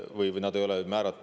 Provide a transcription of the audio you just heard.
Vabandust!